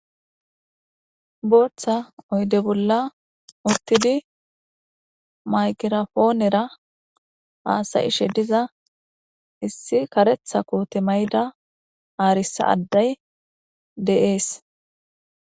Booththa oyde bolla uttidi maygirapoonera haasa'ishe diza issi kareththa koote mayida arissa addey de'es.